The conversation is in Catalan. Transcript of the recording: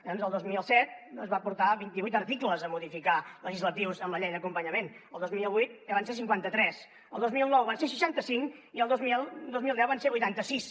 doncs el dos mil set es van portar vint i vuit articles a modificar legislatius amb la llei d’acompanyament el dos mil vuit ja van ser cinquanta tres el dos mil nou van ser seixanta cinc i el dos mil deu van ser vuitanta sis